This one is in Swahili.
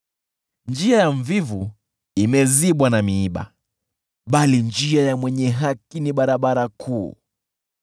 Njia ya mvivu imezibwa na miiba, bali njia ya mwenye haki ni barabara kuu.